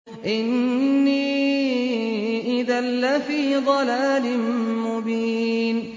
إِنِّي إِذًا لَّفِي ضَلَالٍ مُّبِينٍ